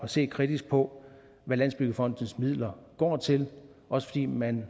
se kritisk på hvad landsbyggefondens midler går til også fordi man